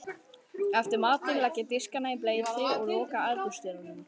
Eftir matinn legg ég diskana í bleyti og loka eldhúsdyrunum.